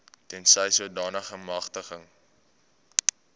tensy sodanige magtiging